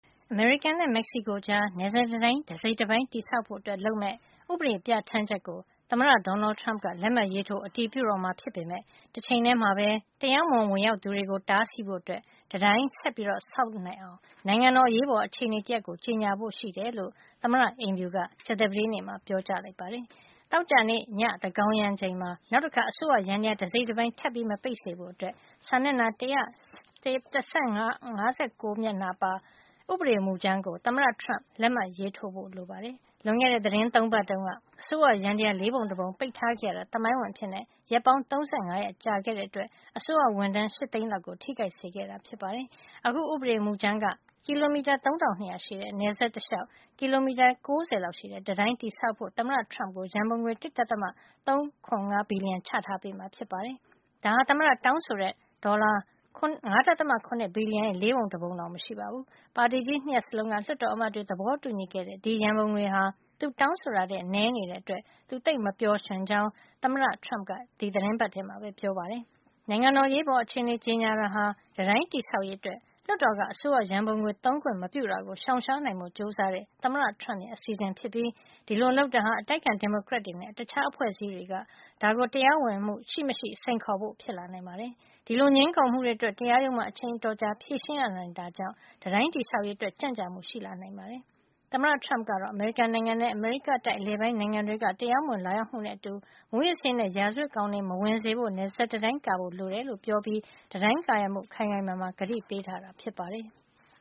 အမေရိကန်နဲ့ မက်ဆီကိုကြား နယ်စပ်တံတိုင်း တစိတ်တပိုင်း တည်ဆောက်ဖို့ လုပ်မယ့် ဥပဒေပြဌာန်းချက်ကို သမ္မတ Donald Trump က လက်မှတ်ရေးထိုး အတည်ပြုတော့မှာ ဖြစ်ပေမယ့် တချိန်ထဲမှာပဲ တရားမဝင် ဝင်ရောက်သူတွေကို တားဆီးဖို့ တံတိုင်းဆက်ပြီး ဆောက် နိုင်အောင် နိုင်ငံတော် အရေးပေါ်အခြေနေတရပ်ကို ကြေညာဖို့ရှိကြောင်း သမ္မတ အိမ်ဖြူက ကြာသပတေးနေ့မှာ ပြောကြားလိုက်ပါတယ်။ သောကြာနေ့ ညသန်းခေါင်ယံရောက်ချိန်မှာ နောက်တခါ အစိုးရယန္တရား တစိတ်တပိုင်း ထပ်မပိတ်ဖို့ စာမျက်နှာ ၁၁၅၉ မျက်နှာပါ ဥပဒေမူကြမ်းကို သမ္မတ Trump လက်မှတ်ရေးထိုးဖို့ လိုပါတယ်။ လွန်ခဲ့တဲ့ သီတင်း ၃ ပတ်တုန်းက အစိုးရယန္တရား လေးပုံတပုံပိတ်ထား ခဲ့ရတာ သမိုင်းဝင်အဖြစ် ရက်ပေါင်း ၃၅ ရက်ကြာခဲ့တဲ့ အတွက် အစိုးရဝန်ထမ်း ၈ သိန်းလောက်ကို ထိခိုက်စေခဲ့တာပါ။ အခုဥပဒေမူကြမ်းက ကီလိုမီတာ ၃၂၀၀ ရှည်တဲ့ နယ်စပ်တလျှောက် ကီလိုမီတာ ၉၀ လောက်ရှည်တဲ့ တံတိုင်းတည်ဆောက်ဖို့ သမ္မတTrump ကို ရံပုံငွေ ၁. ၃၇၅ ဘီလျံချထားပေးမှာ ဖြစ်ပါတယ်။ ဒါဟာ သမ္မတ တောင်းဆိုထားတဲ့ ဒေါ်လာ ၅.ရ ဘီလျံ ရဲ့ လေးပုံတပုံတောင် မရှိပါဘူး။ ပါတီကြီး ၂ ရပ်စလုံးက လွှတ်တော်အမတ်တွေ သဘောတူညီခဲ့တဲ့ ဒီရံပုံငွေဟာ သူတောင်းဆိုတာထက် နဲနေတာကြောင့် သူသိပ် မပျော်ရွှင်တဲ့ အကြောင်း သမ္မတက ဒီသီတင်းပတ်ထဲမှာပဲ ပြောပါတယ်။ နိုင်ငံတော် အရေးပေါ် အခြေနေ ကြေညာတာဟာ တံတိုင်းတည်ဆောက်ရေးအတွက် လွှတ်တော်က အစိုးရရံပုံငွေ သုံးခွင့်မပြုတာကို ရှောင်ရှားနိုင်ဖို့ ကြိုးစားတဲ့ သမ္မတ Trump ရဲ့ အစီစဉ်ဖြစ်ပြီး ဒီလိုလုပ်တာဟာ အတိုက်အခံ ဒီမိုကရက်တွေနဲ့ တခြားအဖွဲ့အစည်း တွေက ဒါကို တရားဝင်မှု ရှိမရှိ စိန်ခေါ်ဖို့ ဖြစ်လာနိုင်ပါတယ်။ ဒီလိုငြင်းခုံမှုတွေအတွက် တရားရုံးမှာ အချိန်အတော်ကြာ ဖြေရှင်းရနိုင်တာကြောင့် တံတိုင်း တည်ဆောက်ရေး အတွက် ကြန့်ကြာမှုလည်း ရှိလာနိုင်တာပါ။ သမ္မတ Trump ကတော့ အမေရိကန်နိုင်ငံထဲ အမေရိကတိုက် အလယ်ပိုင်းနိုင်ငံတွေက တရားမဝင် လာရောက်မှုတွေနဲ့ အတူ မူးယစ်ဆေးနဲ့ ရာဇဝတ်ကောင်တွေ မဝင်ရောက်စေဖို့ နယ်စပ်တံတိုင်းကာရံဖို့ လိုအပ်တယ်လို့ ပြောပြီး တံတိုင်းကာရံဖို့ ခိုင်ခိုင်မာမာ ကတိပေးခဲ့တာ ဖြစ်ပါတယ်။